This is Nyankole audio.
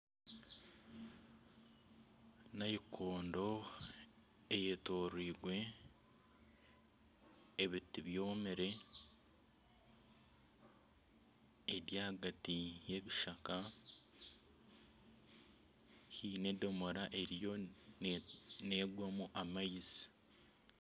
Naikondo eyetooreirwe ebiti byomire eri ahagati y'ebishaka, haine edomora erimu neegwamu amaizi